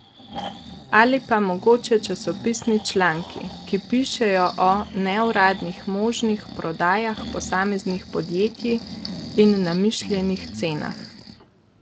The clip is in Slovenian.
Ali pa mogoče časopisni članki, ki pišejo o neuradnih možnih prodajah posameznih podjetij in namišljenih cenah?